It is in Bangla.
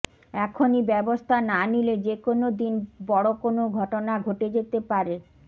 এখনই ব্যবস্থা না নিলে যেকোনও দিন বড় কোনও ঘটনা ঘটে যেতে পারে